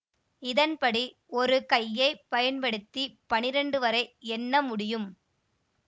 இதன் படி ஒரு கையை பயன்படுத்தி பனிரெண்டு வரை எண்ண முடியும்